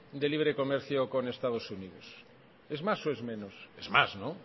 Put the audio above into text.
de libre comercio con estados unidos es más o es menos es más no